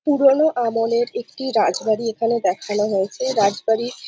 পুরোনো আমলের একটি রাজবাড়ি এখানে দেখানো হয়েছেরাজবাড়ি --